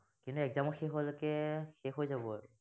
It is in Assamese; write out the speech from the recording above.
তেন্তে exam ৰ শেষ হোৱালৈকে শেষ হৈ যাব।